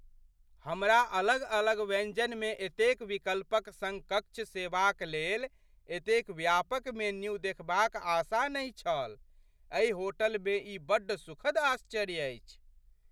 हमरा अलग अलग व्यञ्जनमे एतेक विकल्पक सङ्ग कक्ष सेवाक लेल एतेक व्यापक मेन्यू देखबाक आशा नहि छल। एहि होटलमे ई बड्ड सुखद आश्चर्य अछि!